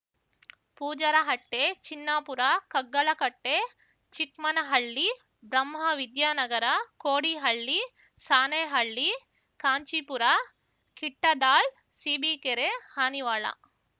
Pujarahatte Chinnapura Kaggalakatte Chikmanahalli Brahmavidyanagara Kodihalli Sanehalli Kanchipura Kittadal Sibikere Hanivala